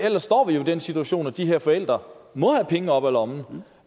ellers står vi jo i den situation at de her forældre må have penge op af lommen